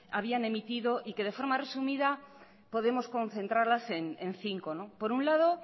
habían emitido y que de forma resumida podemos concentrarla en cinco por un lado